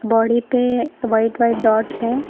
Body पे white white dots है।